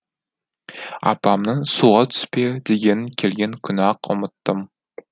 апамның суға түспе дегенін келген күні ақ ұмыттым